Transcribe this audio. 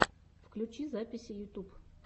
включи записи ютуб